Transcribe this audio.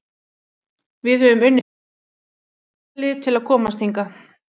Við höfum unnið þrjú úrvalsdeildarlið til að komast hingað.